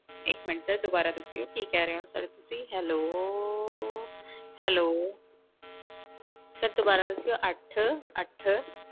ਇੱਕ minute sir ਦੁਬਾਰਾ ਦੱਸਿਓ ਕੀ ਕਹਿ ਰਹੇ ਹੋ sir ਤੁਸੀਂ hello hello sir ਦੁਬਾਰਾ ਦੱਸਿਓ ਅੱਠ ਅੱਠ